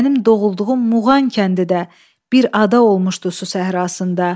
Mənim doğulduğum Muğan kəndi də bir ada olmuşdu su səhrasında.